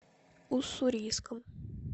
уссурийском